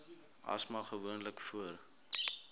asma gewoonlik voor